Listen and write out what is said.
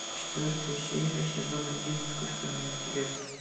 четвертая серия сезон один искусственный интеллект